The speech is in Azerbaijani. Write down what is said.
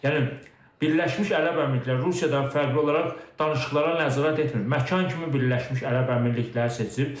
Yəni Birləşmiş Ərəb Əmirlikləri Rusiyadan fərqli olaraq danışıqlara nəzarət etmir, məkan kimi Birləşmiş Ərəb Əmirlikləri seçib.